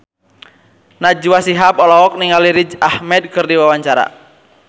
Najwa Shihab olohok ningali Riz Ahmed keur diwawancara